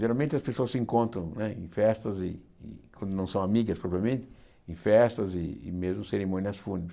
Geralmente as pessoas se encontram né em festas e, quando não são amigas propriamente, em festas e mesmo cerimônias fúnebres.